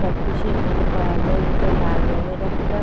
সবকিছু এখানে পাওয়া যায় যেটা লাল রঙের একটা--